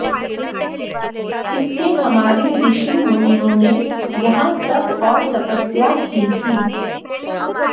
इसमें हमारे ऋ षि मुनियों ने यहां तप और तपस्या की थी